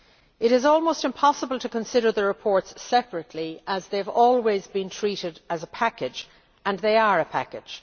It is almost impossible to consider the reports separately as they have always been treated as a package, and they are a package!